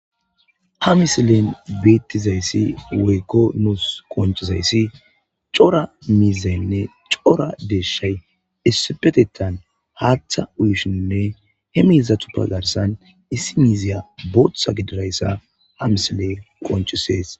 Ha misilen beetizayssi woykko nuus qonccizayssi cora miizaynne cora deeshshay issipetettan haatha uyishenne he miizatuppe garssan issi miiziya bootha gididayssa ha misilen qonccisees.